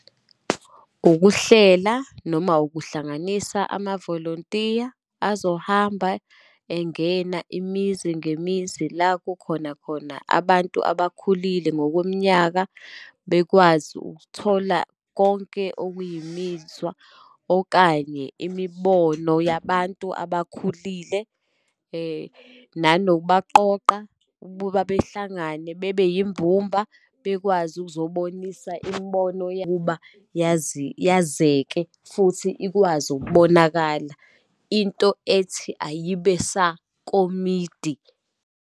Ukuhlela, noma ukuhlanganisa amavolontiya azohamba engena imizi ngemizi, la kukhona khona abantu abakhulile ngokweminyaka, bekwazi ukuthola konke okuyimizwa, okanye imibono yabantu abakhulile, nanokubaqoqa, ububa behlangane bebe yimbumba, bekwazi ukuzobonisa imibono yokuba yazi, yazeke, futhi ikwazi ukubonakala into ethi ayibe sakomidi.